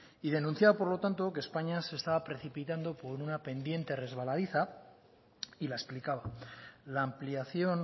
denunciaba por lo tanto que españa se estaba precipitando por una pendiente resbaladiza y la explicaba la ampliación